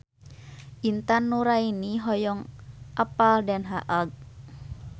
Intan Nuraini hoyong apal Den Haag